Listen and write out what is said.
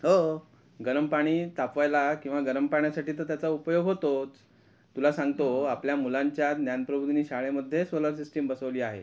हो गरम पाणी तापवायला किंवा गरम पाण्यासाठी त्याचा तर उपयोग होतोच, तुला सांगतो आपल्या मुलांच्या ज्ञान प्रबोधिनी शाळेमध्ये सोलार सिस्टिम बसवली आहे.